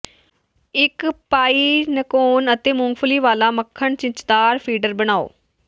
ਇੱਕ ਪਾਈਨਕੋਨ ਅਤੇ ਮੂੰਗਫਲੀ ਵਾਲਾ ਮੱਖਣ ਚਿੱਚਦਾਰ ਫੀਡਰ ਬਣਾਉ